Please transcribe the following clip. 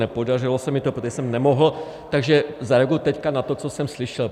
Nepodařilo se mi to, protože jsem nemohl, takže zareaguji teď na to, co jsem slyšel.